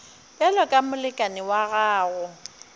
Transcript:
bjalo ka molekane wa gago